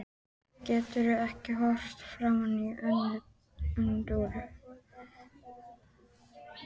Getur ekki horft framan í Önnu Dóru.